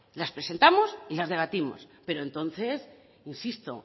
las presentamos y las debatimos pero entonces insisto